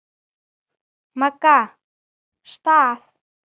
Maga. stað?